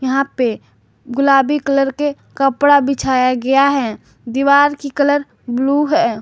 यहां पे गुलाबी कलर के कपड़ा बिछाया गया है दीवार की कलर ब्लू है।